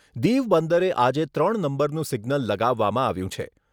દીવ બંદરે આજે ત્રણ નંબરનું સિગ્નલ લગાવવામાં આવ્યું છે.